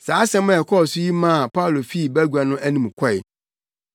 Saa nsɛm a ɛkɔɔ so yi maa Paulo fii bagua no anim kɔe.